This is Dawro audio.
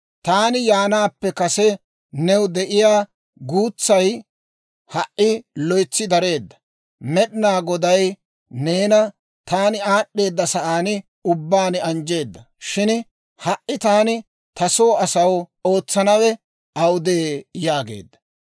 Taani yaanaappe kase new de'iyaa guutsay ha"i loytsi dareedda; Med'inaa Goday neena taani aad'd'eedda sa'aan ubbaan anjjeedda. Shin ha"i, taani ta soo asaw ootsanawe awudee?» yaageedda.